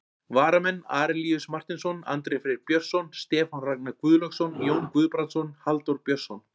Varamenn: Arilíus Marteinsson, Andri Freyr Björnsson, Stefán Ragnar Guðlaugsson, Jón Guðbrandsson, Halldór Björnsson.